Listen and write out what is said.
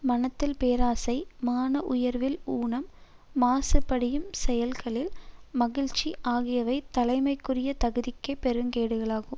மனத்தில் பேராசை மான உணர்வில் ஊனம் மாசுபடியும் செயல்களில் மகிழ்ச்சி ஆகியவை தலைமைக்குரிய தகுதிக்கே பெருங்கேடுகளாகும்